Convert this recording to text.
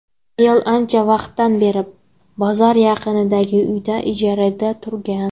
Ayol ancha vaqtdan beri bozor yaqinidagi uyda ijarada turgan.